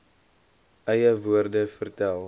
eie woorde vertel